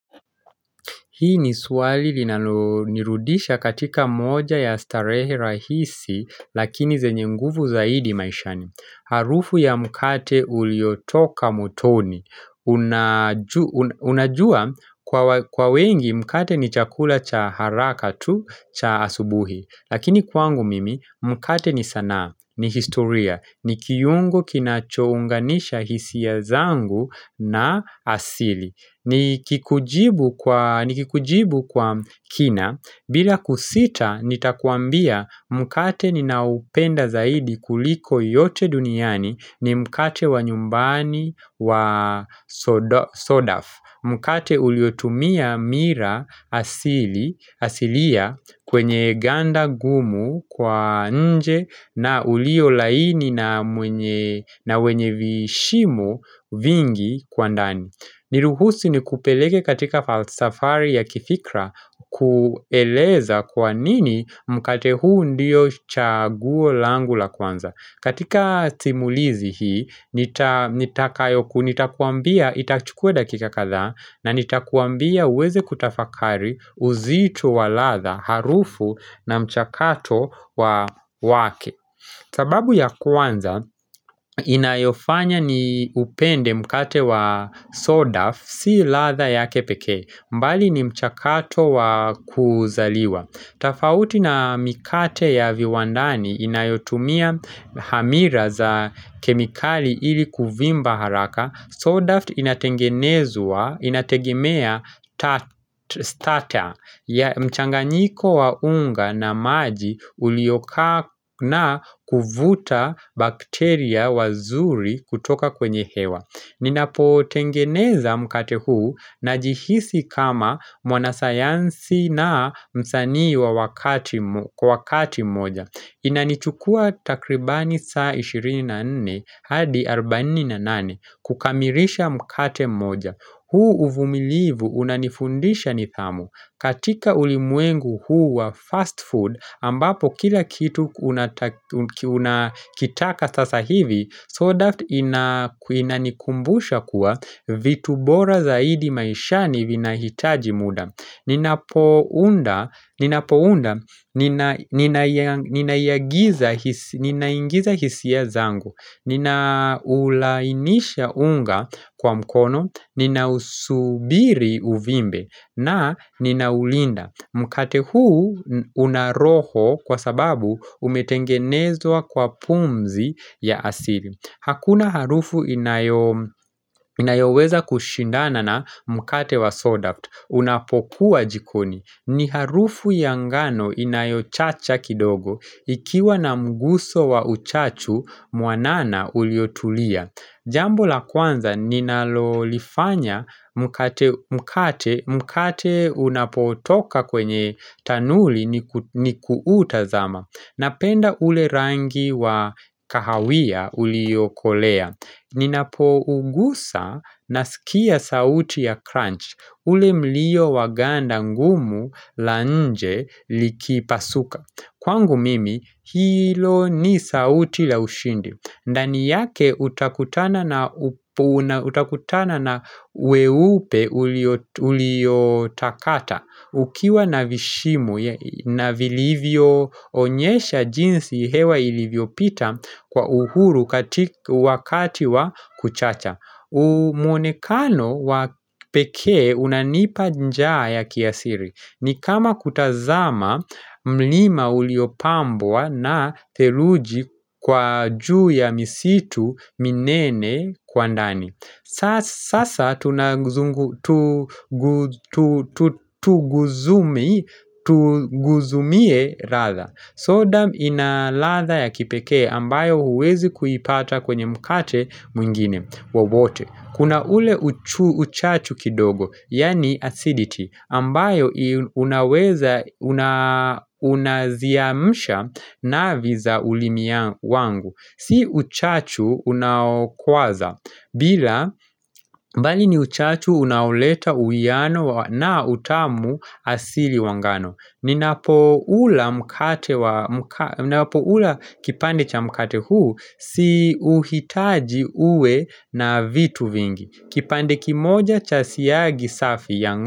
Hii ni swali linalo nirudisha katika moja ya starehe rahisi lakini zenye nguvu zaidi maishani. Harufu ya mkate uliotoka motoni. Unajua kwa wengi mkate ni chakula cha haraka tu cha asubuhi. Lakini kwangu mimi mkate ni sanaa ni historia ni kiyungu kinacho unganisha hisia zangu na asili. Ni kikujibu kwa kina bila kusita nitakuambia mkate ni naoupenda zaidi kuliko yote duniani ni mkate wa nyumbani wa sodaf Mkate uliotumia mira asilia kwenye ganda gumu kwa nje na ulio laini na wenye vishimo vingi kwa ndani Niruhusi ni kupelege katika safari ya kifikra kueleza kwa nini mkate huu ndiyo chaguo langu la kwanza. Katika timulizi hii nitakayoku nitakuambia itachukue dakika katha na nitakuambia uweze kutafakari uzitu wa ladha harufu na mchakato wa wake. Sababu ya kwanza inayofanya ni upende mkate wa sodaf si latha ya kepeke mbali ni mchakato wa kuzaliwa Tafauti na mikate ya viwandani inayotumia hamira za kemikali ili kuvimba haraka Sodaft inatengenezwa, inategimea tata ya mchanganyiko wa unga na maji uliokaa na kuvuta bakteria wazuri kutoka kwenye hewa Ninapotengeneza mkate huu najihisi kama mwana sayansi na msani kwa wakati moja Inanichukua takribani saa 24 hadi 48 kukamirisha mkate moja huu uvumilivu unanifundisha ni dhamu katika ulimwengu huu wa fast food ambapo kila kitu unakitaka sasa hivi Sodaft inanikumbusha kuwa vitu bora zaidi maishani vina hitaji muda Ninapounda ninaingiza hisia zangu ninaulainisha unga kwa mkono ninausubiri uvimbe na ninaulinda Mkate huu una roho kwa sababu umetengenezwa kwa pumzi ya asili Hakuna harufu inayoweza kushindana na mkate wa sodaft Unapokuwa jikoni. Ni harufu ya ngano inayochacha kidogo. Ikiwa na mguso wa uchachu, mwanana uliotulia. Jambo la kwanza, ninalolifanya mkate unapotoka kwenye tanuli ni kuutazama. Napenda ule rangi wa kahawia ulio kolea. Nina poungusa na sikia sauti ya crunch. Ule mlio wa ganda ngumu la nje likipasuka. Kwangu mimi hilo ni sauti la ushindi ndani yake utakutana na weupe uliotakata Ukiwa na vishimo na vilivyo onyesha jinsi hewa ilivyo pita kwa uhuru wakati wa kuchacha muonekano wapeke unanipa njaa ya kiasiri ni kama kutazama mlima uliopambwa na theruji kwa juu ya misitu minene kwa ndani Sasa tuguzumie ladha. Sodam inalatha ya kipeke ambayo huwezi kuipata kwenye mkate mwingine wa wote Kuna ule uchachu kidogo, yani acidity, ambayo unaziamsha na viza ulimia wangu. Si uchachu unakwaza, bali ni uchachu unauleta uiano na utamu asili wangano. Ninapo ula kipande cha mkate huu si uhitaji uwe na vitu vingi kipande kimoja cha siyagi safi ya ngon.